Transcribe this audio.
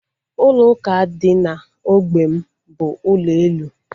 Ụlọ ụka dị na ógbè m bụ ụlọ elu